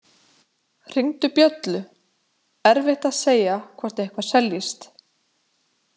Hringdu bjöllu, erfitt að segja hvort eitthvað seljist.